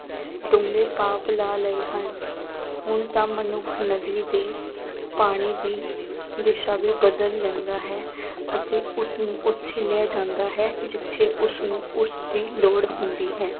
ਪਾਪ ਲਾ ਲਏ ਹਨ ਹੁਣ ਤਾਂ ਮਨੁੱਖ ਨਦੀ ਦੇ ਪਾਣੀ ਦੀ ਦਿਸਾ ਵੀ ਬਦਲ ਲੈਂਦਾ ਹੈ ਅਤੇ ਉਸਨੂੰ ਉੱਥੇ ਲੈ ਜਾਂਦਾ ਹੈ ਜਿੱਥੇ ਉਸਨੂੰ ਉਸਦੀ ਲੌੜ ਹੁੰਦੀ ਹੈ।